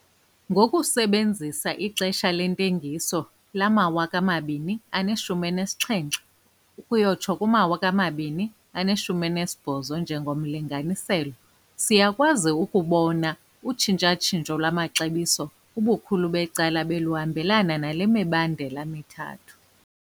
Ngokusebenzisa ixesha lentengiso lamawaka amabini aneshumi elinesixhenxe ukuyotsho kumawaka amabini aneshumi elinesibhozo njengomlinganiselo, siyakwazi ukubona ukuba utshintsha-tshintsho lwamaxabiso ubukhulu becala beluhambelana nale mibandela mithathu.